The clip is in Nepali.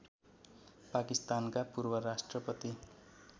पाकिस्तानका पूर्वराष्ट्रपति